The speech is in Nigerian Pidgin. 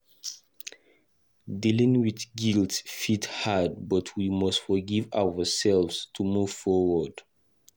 Dealing with guilt fit hard, but we must forgive ourselves to move forward.